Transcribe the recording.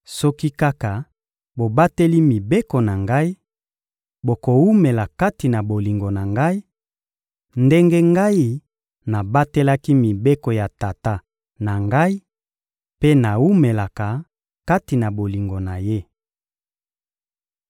Soki kaka bobateli mibeko na Ngai, bokowumela kati na bolingo na Ngai, ndenge Ngai nabatelaki mibeko ya Tata na Ngai mpe nawumelaka kati na bolingo na Ye.